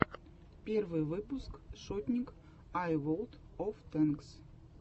первый выпуск шотник ай волд оф тэнкс